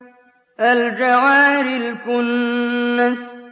الْجَوَارِ الْكُنَّسِ